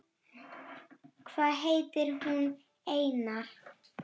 Hvað heitir hún, Einar?